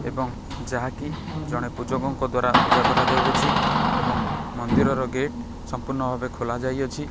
ଏବଂ ଯାହାକି ଜଣେ ପୂଜକଙ୍କ ଦ୍ଵାରା ପୂଜା କରାଜାଉଅଛି ଏବଂ ମନ୍ଦିରର ଗେଟ ସମ୍ପୂର୍ଣ୍ଣ ଭାବେ ଖୋଲାଯାଇଅଛି।